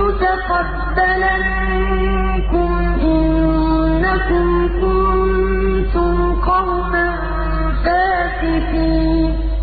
يُتَقَبَّلَ مِنكُمْ ۖ إِنَّكُمْ كُنتُمْ قَوْمًا فَاسِقِينَ